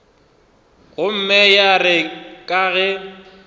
gomme ya re ka ge